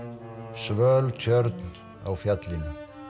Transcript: svöl tjörn á fjallinu